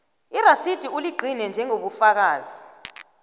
irasidi bewuligcine njengobufakazi